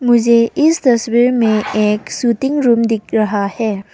मुझे इस तस्वीर में एक शूटिंग रूम दिख रहा है।